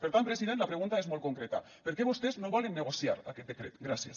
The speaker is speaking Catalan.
per tant president la pregunta és molt concreta per què vostès no volen negociar aquest decret gràcies